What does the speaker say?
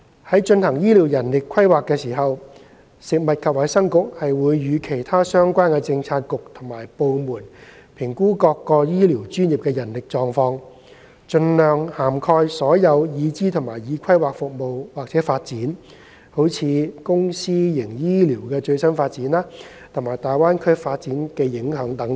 在進行醫療人力規劃時，食物及衞生局會與其他相關政策局及部門評估各醫療專業的人力狀況，盡量涵蓋所有已知和已規劃服務/發展，如公私營醫療的最新發展，以及大灣區的發展和影響等。